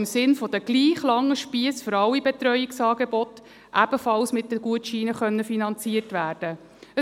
Im Sinne der gleich langen Spiesse für alle Betreuungsangebote sollen diese Angebote ebenfalls mit den Gutscheinen finanziert werden können.